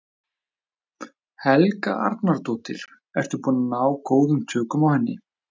Helga Arnardóttir: Ertu búinn að ná góðum tökum á henni?